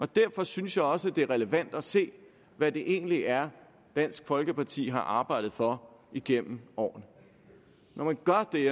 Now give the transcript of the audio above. derfor synes jeg også det er relevant at se hvad det egentlig er dansk folkeparti har arbejdet for igennem årene når man gør det